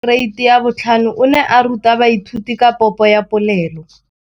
Moratabana wa kereiti ya 5 o ne a ruta baithuti ka popô ya polelô.